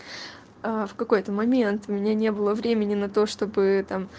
в какой-то момент меня не было времени на то чтобы там